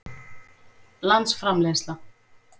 landsframleiðsla